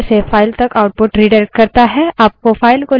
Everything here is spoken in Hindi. आपको file को लिखने का अधिकार होना चाहिए